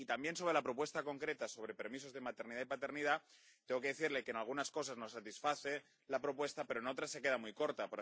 Y, también, sobre la propuesta concreta sobre permisos de maternidad y paternidad, tengo que decirle que en algunas cosas nos satisface la propuesta, pero en otras se queda muy corta.